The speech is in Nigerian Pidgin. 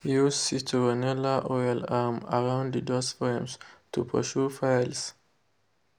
use citronella oil um around de doors frames to pursue files.